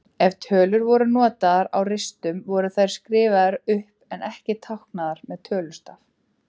Ef tölur voru notaðar á ristum voru þær skrifaðar upp en ekki táknaðar með tölustaf.